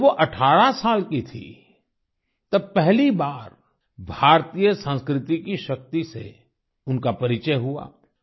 जब वो 18 साल की थी तब पहली बार भारतीय संस्कृति की शक्ति से उनका परिचय हुआ